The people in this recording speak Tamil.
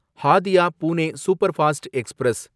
Hadiya Pune superfast express